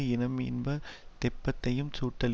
இனம் இன்ப தெப்பத்தையும் சுட்டழிக்கும்